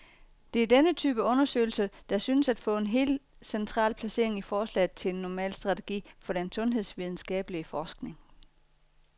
Det er denne type undersøgelser, der synes at få et helt central placering i forslaget til en normal strategi for den sundhedsvidenskabelig forskning.